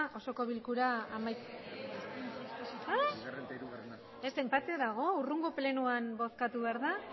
osoko bilkura amaitu ez enpate dago hurrengo plenoan bozkatu behar da